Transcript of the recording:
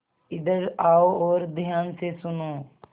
इधर आओ और ध्यान से सुनो